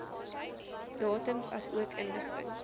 datums asook inligting